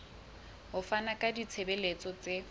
ho fana ka ditshebeletso tse